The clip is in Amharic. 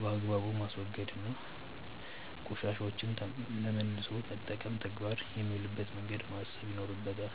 በአግባቡ ማስወገድ እና ቆሻሻዎችን ለመልሶ መጠቀም ተግባር የሚውልበትን መንገድ ማሰብ ይኖርበታል።